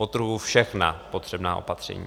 Podtrhuji - všechna potřebná opatření.